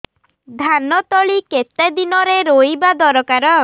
ଧାନ ତଳି କେତେ ଦିନରେ ରୋଈବା ଦରକାର